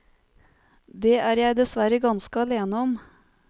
Det er jeg dessverre ganske alene om.